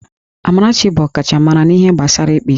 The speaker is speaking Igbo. Amarachi bụ ọkachamara n'ihe gbasara ịkpa isi